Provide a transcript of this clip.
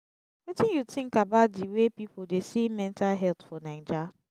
wetin you think about di way people dey see mental health for naija?